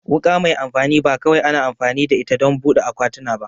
Wuka mai amfani ba kawai ana amfani da ita don buɗe akwatuna ba